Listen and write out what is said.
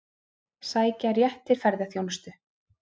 Sækja rétt til ferðaþjónustu